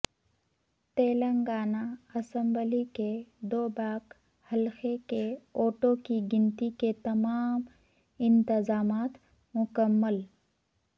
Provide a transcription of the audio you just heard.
Telangana assembly کے دوباک حلقہ کے ووٹوں کی گنتی کے تمام انتظامات مکمل